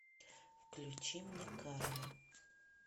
включи мне карла